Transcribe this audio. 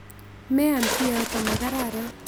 Meam kioto, ma kararan.